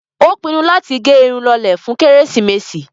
Ó pinnu láti gẹ irun tó lọlẹ̀ fún kérésìmesì.